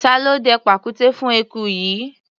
Ta ló dẹ pàkúté fún eku yìí?